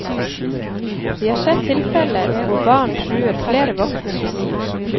Vi har sett tilfeller hvor barn truer flere voksne med kniv.